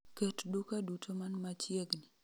ket duka duto man machiegni